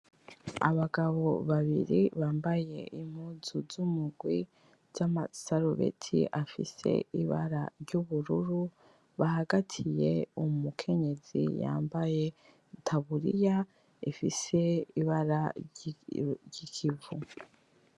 Abagabo babiri bambaye impuzu z'umugwi z'amasarubeti afise ibara ry'ubururu bahagatiye umukenyezi yambaye itaburiya ifise ibara ry'ikivu.